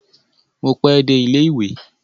Mo pe dé ilẹ ìwé.